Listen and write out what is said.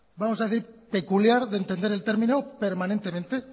vamos a decir peculiar de entender el término permanentemente